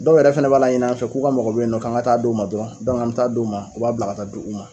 Dɔw yɛrɛ fana b'a laɲin'an fɛ k'u ka mɔgɔ be yen non k'an ka taa d'o ma dɔrɔn an mi taa d'o ma, u b'a bila ka taa d'o ma